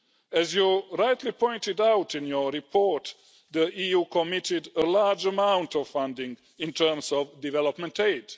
As you rightly pointed out in your report, the EU committed a large amount of funding in terms of development aid.